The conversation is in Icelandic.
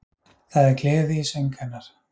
Það er gleði í söng hennar